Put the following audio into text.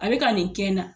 A bɛ ka nin kɛ n na